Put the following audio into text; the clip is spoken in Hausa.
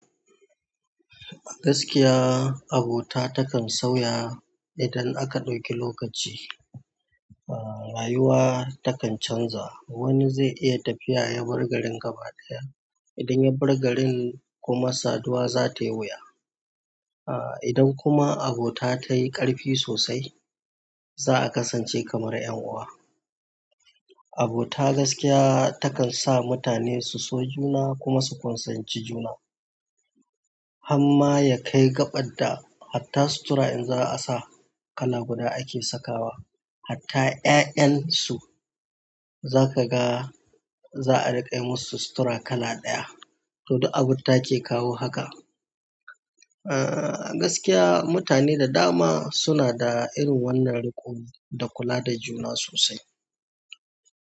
Gaskiya abota takan sauya idan aka ɗauki lokaci. Ah rayuwa takan canza wani zai iya tafiya ya bar garin gaba ɗaya idan ya bar garin kuma saduwa za ta yi wuya. Ah idan kuma abota ta yi ƙarfi sosai za a kasance kamar ƴan uwa. Abota gaskiya takan sa mutane su so juna kuma su ƙunsanci juna. Hamma ya kai gaɓar da hatta sutura in za a sa kala guda ake sakawa. Hatta ƴa'ƴan su za ka ga za a riƙa yi musu sutura kala ɗaya. To, duk abota ke kawo hakan. Ah gaskiya mutane da dama suna da irin wannan riko din da kula da juna sosai.